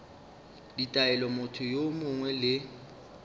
ditaelo motho yo mongwe le